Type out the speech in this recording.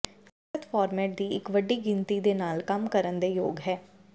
ਸਹੂਲਤ ਫਾਰਮੈਟ ਦੀ ਇੱਕ ਵੱਡੀ ਗਿਣਤੀ ਦੇ ਨਾਲ ਕੰਮ ਕਰਨ ਦੇ ਯੋਗ ਹੈ